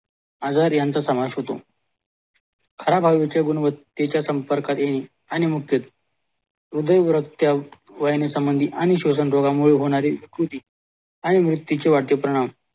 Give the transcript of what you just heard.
आजार यांचं समावेश होतो खराब वायूचे गुणवत्तेच्या संपर्कात येईल आणिमुक्तेत हृदय वयानी आणि स्वशन रोगामुळे होणारी कृती आणि त्याची वाईट परिणाम